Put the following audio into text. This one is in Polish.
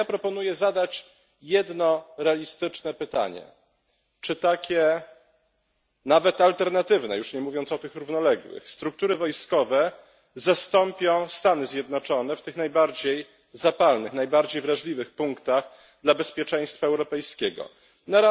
A ja proponuję zadać jedno realistyczne pytanie czy takie nawet alternatywne już nie mówiąc o tych równoległych struktury wojskowe zastąpią Stany Zjednoczone w tych najbardziej zapalnych, najbardziej wrażliwych dla bezpieczeństwa europejskiego punktach?